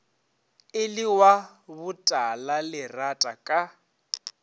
e le wa botalalerata ka